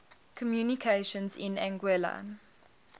communications in anguilla